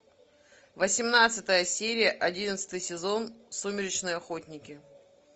восемнадцатая серия одиннадцатый сезон сумеречные охотники